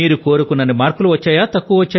మీరు కోరుకున్నన్ని మార్కులు వచ్చాయా